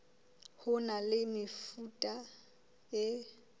ho na le mefuta e